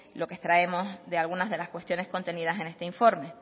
lo que extraemos de algunas de las cuestiones contenidas en este informe